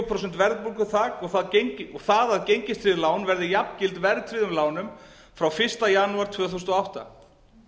prósent verðbólguþak og það að gengistryggð lán verði jafngild verðtryggðum lánum frá fyrsta janúar tvö þúsund og átta